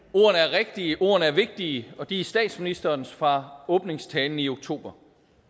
rigtige ordene er vigtige og de er statsministerens fra åbningstalen i oktober